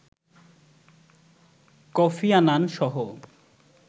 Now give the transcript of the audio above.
Kofi Annan সহ